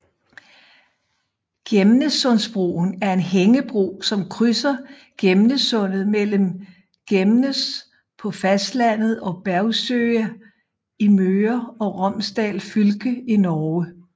Gjemnessundbroen er en hængebro som krydser Gjemnessundet mellem Gjemnes på fastlandet og Bergsøya i Møre og Romsdal fylke i Norge